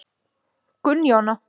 Gunnjóna